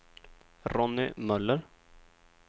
Ronny Möller